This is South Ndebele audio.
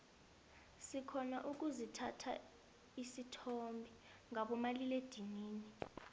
sirhona ukuzithatha isithombe ngabo malila edinini